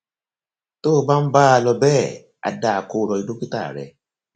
tó o bá ń bá a lọ bẹẹ á dáa kó o lọ rí dókítà rẹ